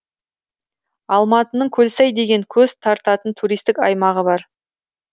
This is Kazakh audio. алматының көлсай деген көз тартатын туристік аймағы бар